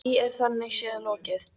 Því er þannig séð lokið.